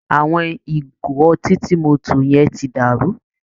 Àwọn ìgò ọtí tí mo tò yẹn tí dàrú